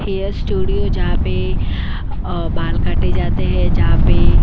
hair studio जहां पे बाल काटे जाते हैं जहां पे --